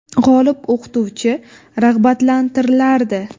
G‘olib o‘qituvchi rag‘batlantirilardi.